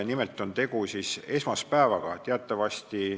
Nimelt käib jutt esmaspäevast.